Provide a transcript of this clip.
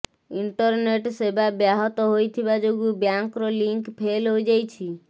internet ସେବା ବ୍ୟାହତ ହୋଇଥିବା ଯୋଗୁଁ ବ୍ୟାଙ୍କର ଲିଙ୍କ୍ ଫେଲ୍ ହୋଇଯାଇଛି